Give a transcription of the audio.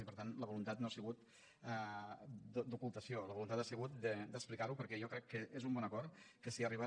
i per tant la voluntat no ha sigut d’ocultació la voluntat ha sigut d’explicar ho perquè jo crec que és un bon acord que s’hi ha arribat